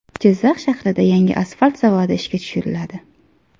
Jizzax shahrida yangi asfalt zavodi ishga tushiriladi.